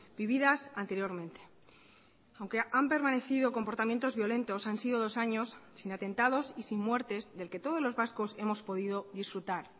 vividas anteriormente aunque han permanecido comportamientos violentos han sido dos años sin atentados y sin muertes del que todos los vascos hemos podido disfrutar